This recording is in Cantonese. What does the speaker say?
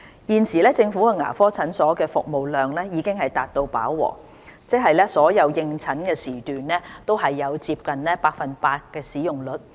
現時，政府牙科診所的服務量已達飽和，即所有應診時段均有接近百分百的使用率。